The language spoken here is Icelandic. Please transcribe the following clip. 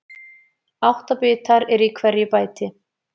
Átta bitar eru í hverju bæti.